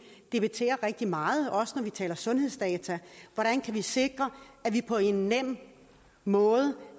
debatterer rigtig meget også når vi taler sundhedsdata hvordan kan vi sikre at vi på en nem måde